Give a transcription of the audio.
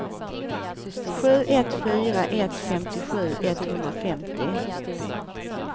sju ett fyra ett femtiosju etthundrafemtio